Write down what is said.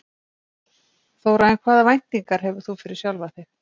Þóra: En hvaða væntingar hefur þú fyrir sjálfan þig?